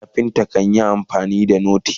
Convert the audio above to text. carpenter kanyi amfani da noti